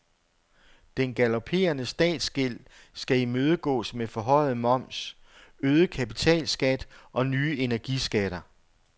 Den galopperende statsgæld skal imødegås med forhøjet moms, øget kapitalskat og nye energiskatter.